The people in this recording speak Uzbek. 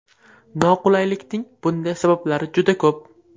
Noqulaylikning bunday sabablari juda ko‘p.